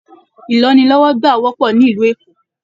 Ìlọ́nilọ́wọ́gbà wọ́pọ̀ ní ìlú Èkó